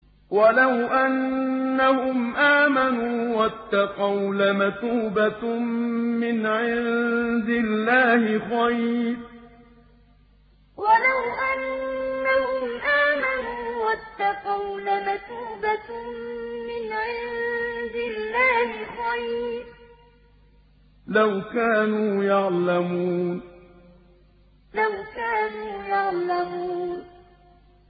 وَلَوْ أَنَّهُمْ آمَنُوا وَاتَّقَوْا لَمَثُوبَةٌ مِّنْ عِندِ اللَّهِ خَيْرٌ ۖ لَّوْ كَانُوا يَعْلَمُونَ وَلَوْ أَنَّهُمْ آمَنُوا وَاتَّقَوْا لَمَثُوبَةٌ مِّنْ عِندِ اللَّهِ خَيْرٌ ۖ لَّوْ كَانُوا يَعْلَمُونَ